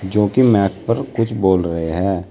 जो कि मैक पर कुछ बोल रहे है।